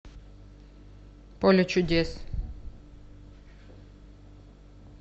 поле чудес